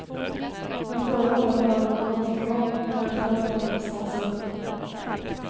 Men förra året hade hon kommit igång, med medalj på alla distanser.